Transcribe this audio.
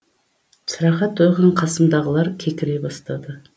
сыраға тойған қасымдағылар кекіре бастады